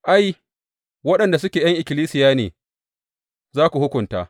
Ai, waɗanda suke ’yan ikkilisiya ne za ku hukunta.